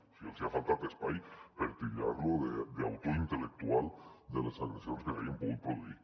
o sigui els hi ha faltat espai per titllar lo d’autor intel·lectual de les agressions que s’hagin pogut produir